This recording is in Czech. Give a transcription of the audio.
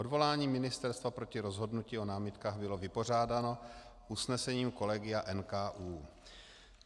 Odvolání ministerstva proti rozhodnutí o námitkách bylo vypořádáno usnesením kolegia NKÚ.